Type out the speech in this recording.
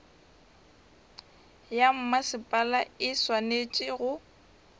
ya mmasepala e swanetše go